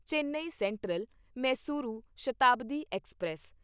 Chennai central Mysuru Shatabdi express